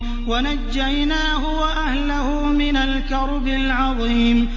وَنَجَّيْنَاهُ وَأَهْلَهُ مِنَ الْكَرْبِ الْعَظِيمِ